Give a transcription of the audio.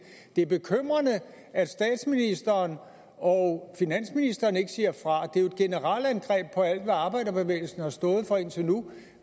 det er bekymrende at statsministeren og finansministeren ikke siger fra det er jo et generalangreb på alt hvad arbejderbevægelsen har stået for indtil nu